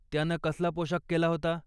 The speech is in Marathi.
त्यानं कसला पोशाख केला होता?